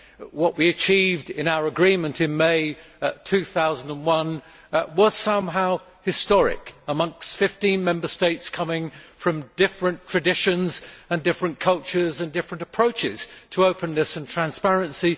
what we achieved in our agreement in May 2001 was somehow historic, amongst 15 Member States moving from different traditions and cultures, and different approaches, to openness and transparency.